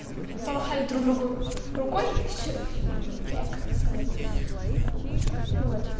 помахали друг другу рукой